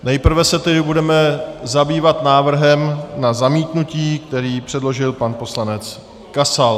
Nejprve se tedy budeme zabývat návrhem na zamítnutí, který předložil pan poslanec Kasal.